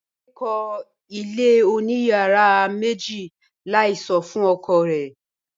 Bímpé kó ilé oníyàrá méjì láì sọ fún ọkọ rẹ̀